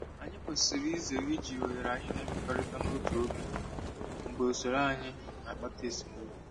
Anyị kwesịrị izere iji oghere anyị na-ekekọrịta n'otu oge mgbe usoro anyị na-akpata esemokwu.